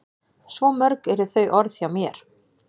Svo mörg eru þau orð hjá þér.